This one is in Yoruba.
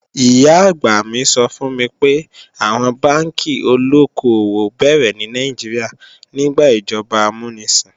Ìyá-àgbà mi sọ fún mi pé, àwọn bánkì olóko-òwò béèrè ní Nàìjíríà nígbà ìjọba amúnisìn